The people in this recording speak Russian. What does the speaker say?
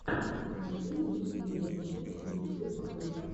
покажи мне передачи ютьюб хелп